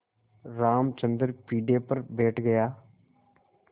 रामचंद्र पीढ़े पर बैठ गया